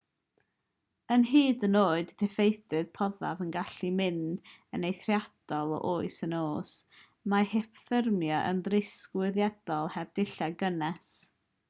mae hyd yn oed y diffeithdir poethaf yn gallu mynd yn eithriadol o oer yn y nos mae hypothermia yn risg wirioneddol heb ddillad cynnes